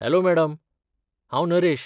Hello madam. हांव नरेश.